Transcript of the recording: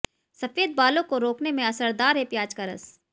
सफेद बालों को रोकने में असरदार है प्याज का रस